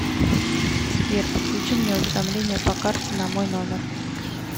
сбер подключи мне уведомление по карте на мой номер